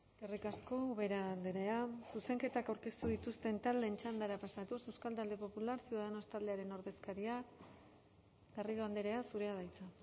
eskerrik asko ubera andrea zuzenketak aurkeztu dituzten taldeen txandara pasatuz euskal talde popular ciudadanos taldearen ordezkaria garrido andrea zurea da hitza